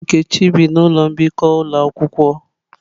Nkechi bi na ụlọ mbikọ ụlọ akwụkwọ.